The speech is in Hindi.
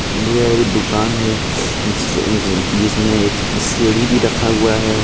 जे एक दूकान है जिस ज जिसमे एक स सीढ़ी भी रखा हुआ है.